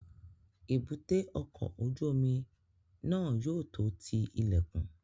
Èbúté ọkọ̀ ojú omi náà yóò tó ti ilẹ̀kùn